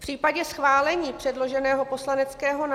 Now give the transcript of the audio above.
V případě schválení předloženého poslaneckého